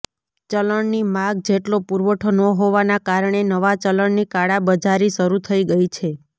ચલણની માગ જેટલો પુરવઠો ન હોવાના કારણે નવા ચલણની કાળાબજારી શરૃ થઈ ગઈ છે